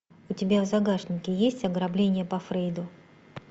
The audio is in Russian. у тебя в загашнике есть ограбление по фрейду